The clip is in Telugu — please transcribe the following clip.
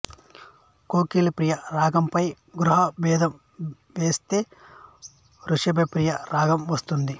కోకిలప్రియ రాగంపై గ్రహ భేదం చేస్తే రిషభప్రియ రాగం వస్తుంది